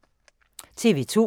TV 2